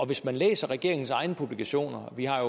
hvis man læser regeringens egne publikationer og vi har